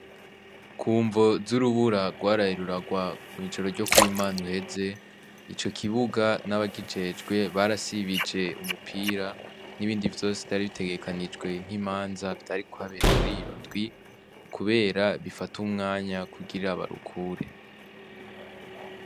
Kumvo z’urubura rwaraye rurarwa mw'ijoro ryo kuwi Mana uheze ico kibuga naba kijejwe barasibije umupira n'ibindi vyose vyari bitegekekanijwe nk'imanza vyari kuhabera muriyo ndwi kubera bifata umwanya kugira barukure.